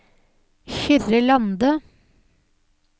Kyrre Lande